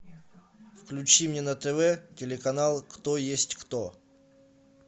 включи мне на тв телеканал кто есть кто